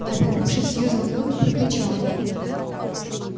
обернувшись сьюзен кэлвин прокричала